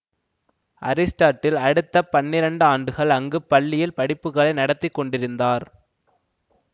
Aristotle அடுத்த பன்னிரண்டு ஆண்டுகள் அங்கு பள்ளியில் படிப்புகளை நடத்திக்கொண்டிருந்தார்